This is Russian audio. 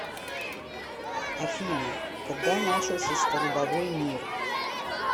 афина когда начался столбовой мир